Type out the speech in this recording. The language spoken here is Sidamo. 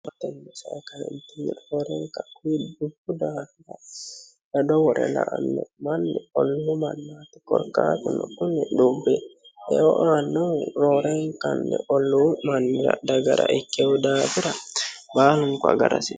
gobbate sae kaeentinni roorenka dubbu sadaardado wore la anne manni olluuu mannaati korkaatno kuni dhubbe eoaannohu roorenkanni olluu mannira dagara ikkehu daabira baalunku agarasi